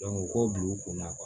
u k'o bila u kunna